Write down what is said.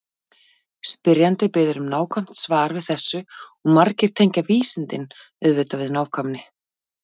Spyrjandi biður um nákvæmt svar við þessu og margir tengja vísindin auðvitað við nákvæmni.